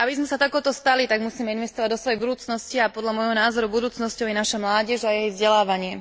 Aby sme sa takouto stali, tak musíme investovať do svojej budúcnosti, a podľa môjho názoru budúcnosťou je naša mládež a jej vzdelávanie.